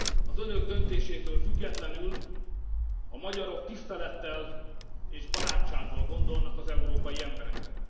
Az Önök döntésétől függetlenül a magyarok tisztelettel és barátsággal gondolnak az európai emberekre.